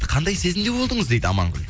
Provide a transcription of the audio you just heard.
қандай сезімде болдыңыз дейді амангүл